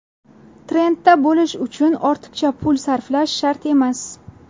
Trendda bo‘lish uchun ortiqcha pul sarflash shart emas.